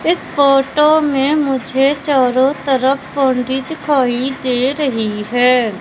इस फोटो में मुझे चारो तरफ बाउंड्री दिखाई दे रही है।